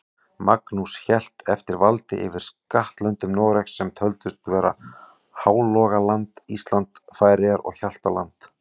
Magnús hélt eftir valdi yfir skattlöndum Noregs, sem töldust vera Hálogaland, Ísland, Færeyjar og Hjaltland.